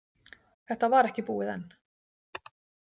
Þetta var ekki búið enn.